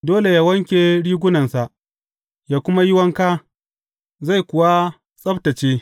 Dole yă wanke rigunansa ya kuma yi wanka, zai kuwa tsabtacce.